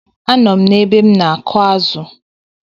A nọ m ebe m na-akụ̀ azụ̀.